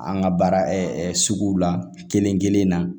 An ka baara sugu la kelen-kelen na